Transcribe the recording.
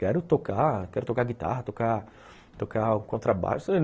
Quero tocar, quero tocar guitarra, tocar... tocar contrabaixo.